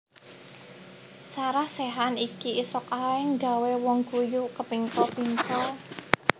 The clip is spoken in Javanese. Sarah Sechan iki isok ae nggawe wong ngguyu kepingkel pingkel